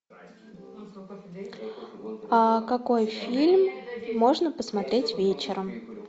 какой фильм можно посмотреть вечером